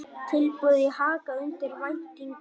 Tilboðin í Haga undir væntingum